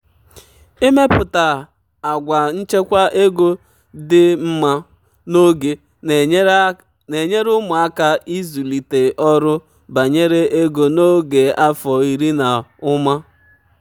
ịmepụta àgwà nchekwa ego dị mma n'oge na-enyere ụmụaka aka ịzụlite ọrụ banyere ego n'oge afọ iri na ụma.